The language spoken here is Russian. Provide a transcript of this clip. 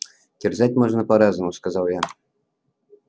терзать можно по-разному сказал я